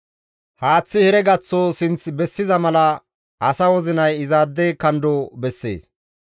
Haaththay heregaththo sinth bessiza mala asa wozinay izaade kando bessees.